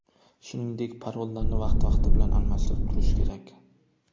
Shuningdek, parollarni vaqti-vaqti bilan almashtirib turish kerak.